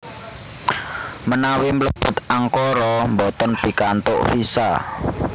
Menawi mlebet Ankara mboten pikantuk visa